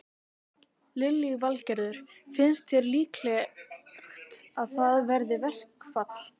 Lillý Valgerður: Finnst þér líklegt að það verði verkfall?